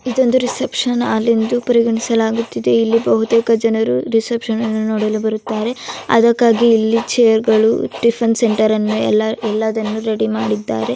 ಇದೊಂದು reception hall ಎಂದು ಪರಿಗಣಿಸಲಾಗುತ್ತದೆ ಇಲ್ಲಿ ಬಹುಕೇತ ಜನರು ರಿಸೆಪ್ಶನ್ ನ್ನು ನೋಡಲು ಬರುತ್ತಾರೆ ಅದಕ್ಕಾಗಿ ಇಲ್ಲಿ ಚೇರ್ಗ ಳು ಟಿಫನ್ ಸೆಂಟರ್ ಎಲ್ಲವನ್ನು ರೆಡಿ ಮಾಡಿದ್ದಾರೆ.